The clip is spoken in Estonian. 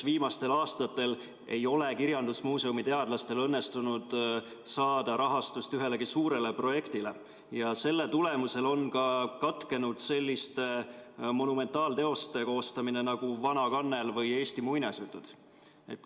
Viimastel aastatel ei ole kirjandusmuuseumi teadlastel õnnestunud saada rahastust ühelegi suurele projektile ja selle tulemusel on katkenud selliste monumentaalteoste nagu Vana Kannel või "Eesti muinasjutud" koostamine.